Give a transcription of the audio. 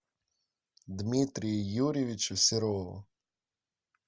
дмитрию юрьевичу серову